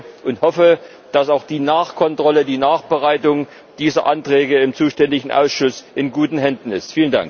Ich denke und hoffe, dass auch die Nachkontrolle, die Nachbereitung dieser Anträge im zuständigen Ausschuss in guten Händen ist.